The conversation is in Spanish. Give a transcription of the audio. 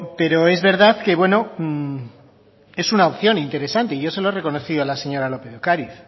pero es verdad que bueno es una opción interesante y yo se lo he reconocido a la señora lópez de ocariz